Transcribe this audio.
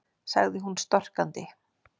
sagði hún storkandi.